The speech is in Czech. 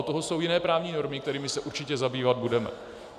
Od toho jsou jiné právní normy, kterými se určitě zabývat budeme.